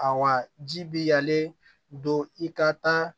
A ji bi yanlen don i ka taa